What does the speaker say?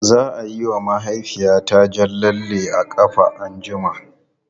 Za a yi wa mahaifiyata jan lalle a ƙafa anjima.